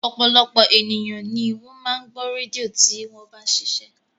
Ọ̀pọ̀lọpọ̀ ènìyàn ni ó máa ń gbọ́ rédíò tí wọ́n bá ń ṣiṣẹ́